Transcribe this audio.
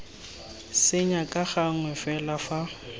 senya ka gangwe fela fa